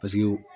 Paseke